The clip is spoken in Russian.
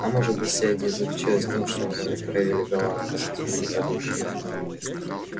а может быть вся идея заключалась в том чтобы проявили галантность и великодушие